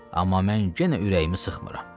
Amma mən yenə ürəyimi sıxmıram.